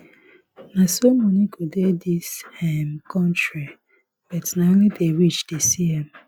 na so money go dey dis um country but na only the rich dey see am